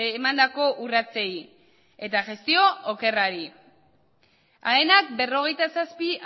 emandako urratsei eta gestio okerrari aenak berrogeita zazpi